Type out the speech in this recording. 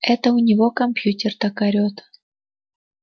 это у него компьютер так орёт